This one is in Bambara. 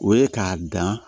O ye k'a dan